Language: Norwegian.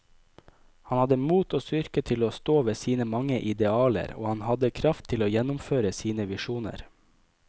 Han hadde mot og styrke til å stå ved sine mange idealer, og han hadde kraft til å gjennomføre sine visjoner.